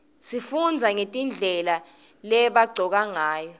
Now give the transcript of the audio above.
sifundze nagetindlela lebagcoka ngayo